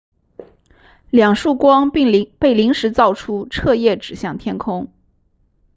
两束光被临时造出彻夜指向天空